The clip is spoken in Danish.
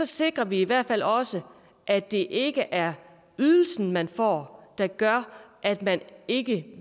sikrer vi i hvert fald også at det ikke er ydelsen man får der gør at man ikke